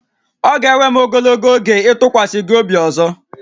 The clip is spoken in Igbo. Ọ ga-ewe m ogologo oge ịtụkwasị gị obi ọzọ